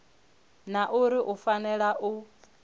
na uri u fanela u